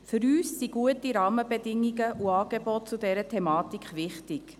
Für uns sind gute Rahmenbedingungen und Angebote zu dieser Thematik wichtig.